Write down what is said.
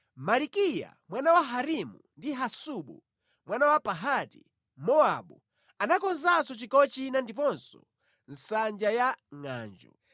Malikiya mwana wa Harimu ndi Hasubu mwana wa Pahati-Mowabu anakonzanso chigawo china ndiponso Nsanja ya Ngʼanjo.